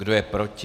Kdo je proti?